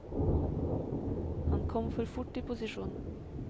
Han kom for fort i posisjon.